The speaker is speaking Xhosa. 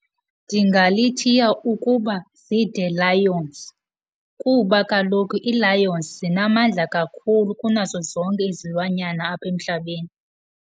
Ndingalithiya ukuba ziiThe Lions kuba kaloku ii-lions zinamandla kakhulu kunazo zonke izilwanyana apha emhlabeni.